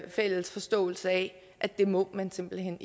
fælles forståelse af at det må man simpelt hen